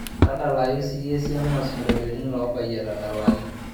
tadalayu siyie esiana oo isinkolioni loobayie etadalaki